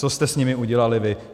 Co jste s nimi udělali vy?